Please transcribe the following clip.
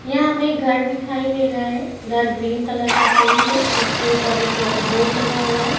यहां मैं घर दिखाई दे रहा है ग्रीन कलर का पेंट है उसके ऊपर एक बोर्ड लगा हुआ है।